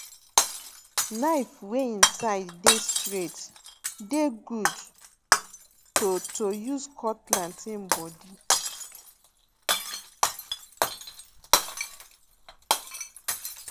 knife wey em side dey straight dey good to to use cut plantain body